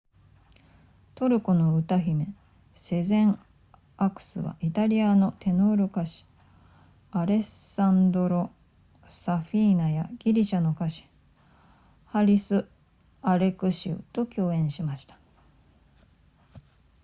トルコの歌姫セゼンアクスはイタリアのテノール歌手アレッサンドロサフィーナやギリシャの歌手ハリスアレクシウと共演しました